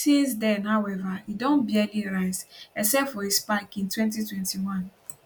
since den howeva e don barely rise except for a spike in 2021